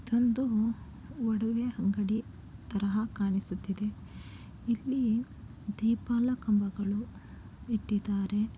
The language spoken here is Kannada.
ಇದೊಂದು ಒಡವೆ ಅಂಗಡಿ ತರಹ ಕಾಣಿಸುತ್ತಿದೆ. ಇಲ್ಲಿ ದೀಪಾಲ ಕಂಬಗಳು ಇಟ್ಟಿದ್ದಾರೆ.